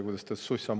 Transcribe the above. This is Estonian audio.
Kuidas ta ütles?